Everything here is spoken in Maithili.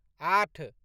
आठ